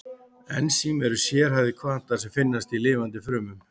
Ensím eru sérhæfðir hvatar sem finnast í lifandi frumum.